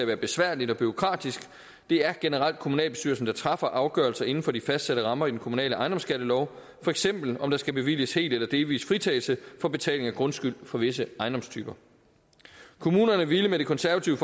være besværligt og bureaukratisk det er generelt kommunalbestyrelsen der træffer afgørelser inden for de fastsatte rammer i den kommunale ejendomsskattelov for eksempel om der skal bevilges helt eller delvis fritagelse for betaling af grundskyld for visse ejendomstyper kommunerne ville med det konservative